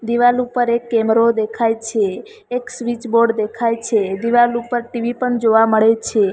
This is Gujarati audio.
દીવાલ ઉપર એક કેમરો દેખાય છે એક સ્વિચબોર્ડ દેખાય છે દીવાલ ઉપર ટી_વી પણ જોવા મળે છે.